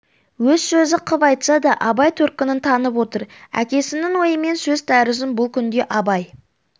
өз сөзі қып айтса да абай төркінін танып отыр әкесінің ойымен сөз тәрізін бұл күнде абай